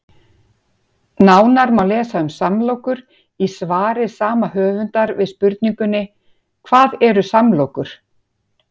Nánar má lesa um samlokur í svari sama höfundar við spurningunni Hvað eru samlokur?